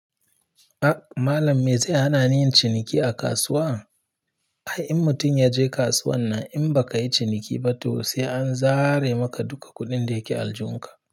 Ah Malam me ze hanani yin ciniki a kasuwa? Ai in mutum ya je kasuwan nan in ba ka yi ciniki ba to sai an zare maka duka kuɗin da ke aljihunka.